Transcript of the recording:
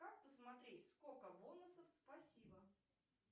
как посмотреть сколько бонусов спасибо